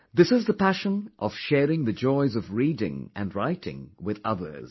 This is the passion of sharing the joys of reading and writing with others